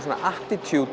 svona